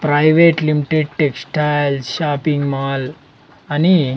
private limited textile shopping mall అని--